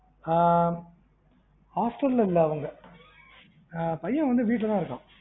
ஆஹ் hostel ல இல்ல அவங்க, ஆஹ் பையன் வந்து வீட்டுல தான் இருக்கான்.